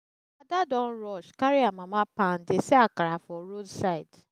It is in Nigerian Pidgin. ada don rush carry her mama pan dey sell akara for roadside